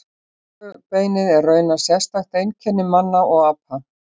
Rófubeinið er raunar sérstakt einkenni manna og apa.